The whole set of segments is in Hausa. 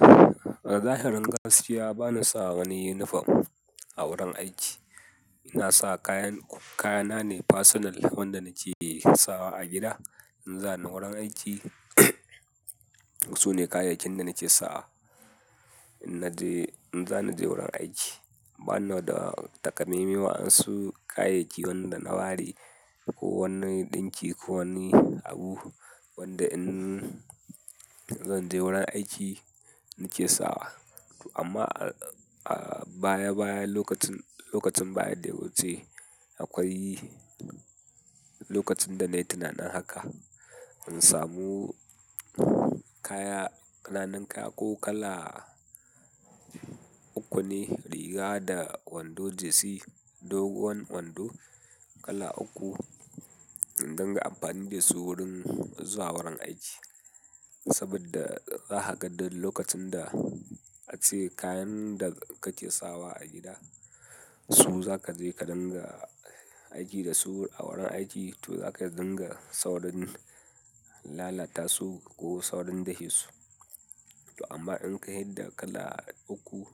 A zahirin gaskiya, ba na sa wani unifom a wurin aiki. Ina sa kayan-- kayana ne fasinal wanda nake sawa a gida in za ni wurin aiki, su ne kayayyakin da nake sawa in naje-- in za ni je wurin aiki. Ba na da takamaime wa yansu kayayyaki wanda na ware ko wani ɗinki ko wani abu wanda in zan je wurin aiki nake sawa. Amma a baya-baya, lokacin, lokacin baya daya wuce, akwai lokacin da na yi tunanin haka. In samu kaya, ƙananan kaya ko kala uku ne riga da wando jesi, dogon wando kala uku in din ga amfani da su wurin zuwa wurin aiki. Saboda za ka ga duk lokacin da ace kayan da kake sawa a gida, su za ka je ka dinga aiki da su a wurin aiki, to za ka dinga saurin lalata su ko saurin dafe su. To amma in ka fida kala uku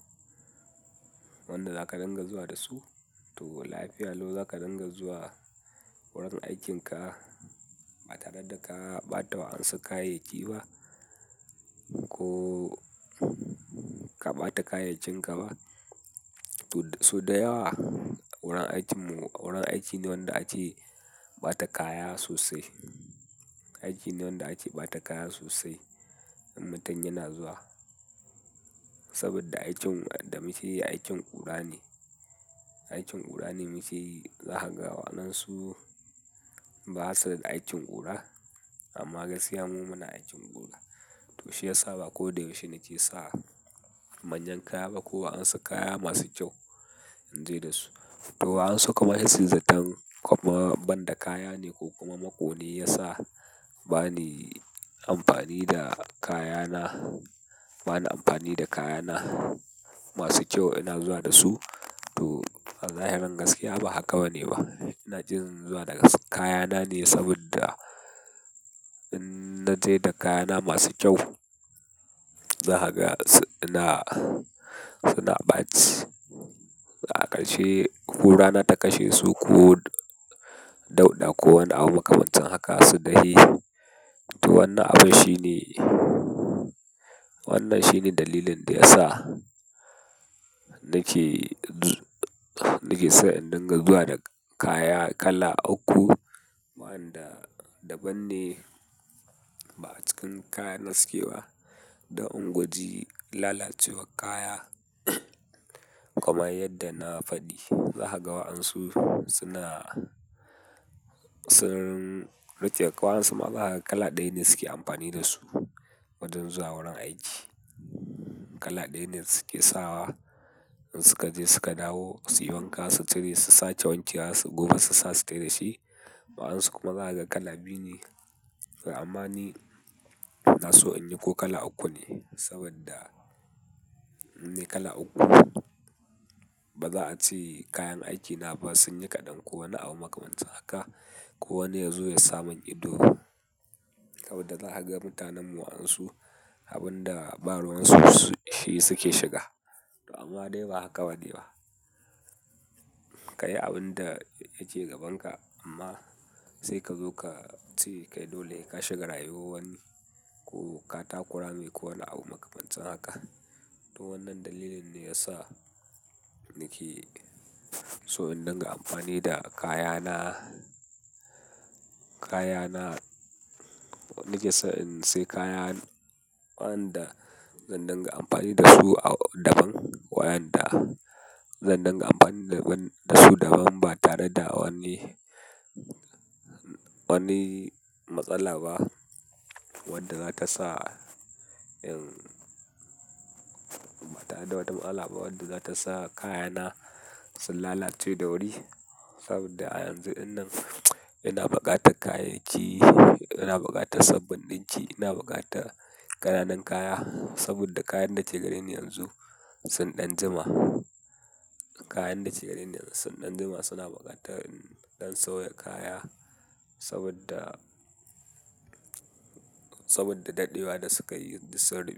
wanda za ka dinga zuwa da su, to lafiya lau za ka dinga zuwa wurin aikinka ba tare da ka ɓata wa ansu kayayyaki ba ko ka ɓata kayayyakinka ba. Sau da yawa wurin aikinmu, wurin aiki ne wanda ace ba ta kaya sosai. Aiki ne wanda ake bata kaya sosai in mutun yana zuwa. Saboda aikin da muke yi aikin ƙura ne. Aikin ƙura ne muke yi. Za ka ga waɗansu basa da aikin ƙura, amma gaskiya mu muna aikin ƙura. To shiyasa ba ko da yaushe nake sa manyan kaya ba ko wa yansu kaya masu kyau in je da su. To wa ansu kuma sai suyi zaton kama ban da kaya ne ko kuma makone ya sa bani amfani da kayana, ba ni amfani da kayana masu kyau ina zuwa da su. To a zahirin gaskiya ba haka bane ba. Ina jin zuwa da kayana ne saboda in naje da kayana masu kyau, za ka ga suna ɓaci. A ƙarshe, ƙura na ta kashe su ko dauɗa ko wani abu makamancin haka sun dai. To wannan abun shine, wannan shine dalilin da ya sa nake, nake so in dinga zuwa da kaya kala uku. Wa yanda daban ne ba a cikin kayana suke ba dan in guji lalacewar kaya. Kuma yadda na faɗi za ka ga waɗansu suna, sun rike. Waɗansu ma zakaga kala ɗaya ne suke amfani da su wajen zuwa wurin aiki. Kala ɗaya ne suke sawa in suka je suka dawo, su yi wanka, su cire, su sake wanke wa su goga su sa, su fita da shi. Waɗansu kuma za ka ga kala biyu ne. Amma ni na so in yi ko kala uku ne saboda in nayi kala uku ba za a ce kayan aikina ba sun yi kaɗan ko wani abu makamancin haka ko wani ya zo ya samu ido. Saboda za ka ga mutanen mu waɗansu abin da baruwan su shi suke shiga. Amma dai ba haka bane ba. Ka yi abin da yake gabanka amma sai ka zo ka ce kai dole ka shiga rayuwar wani ko ka taku rame ko wani abu makamancin haka. Toh wannan dalilin ne yasa nake so in dinga amfani da kayana kayana nikeso in siya kaya wanda zan dinga amfani dasu daban wa yanda zan dinga amfani dasu daban ba tare da wani matsala ba wanda zatasa kayana su lalace da wuri saboda a yanzu din nan ina bukatan kayayyaki ina bukatan sabon dinki ina bukatan kananu kaya saboda kayan dake gareni yanzu sun dan jima kayan dake gareni yanzu sun dan jima suna bukatan dan sauya kaya saboda. Saboda dadewa da sukayi duk sun rube.